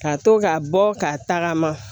Ka to ka bɔ ka tagama